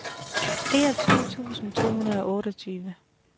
enogtyve tusind to hundrede og otteogtyve